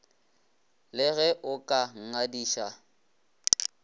le ge o ka nngadiša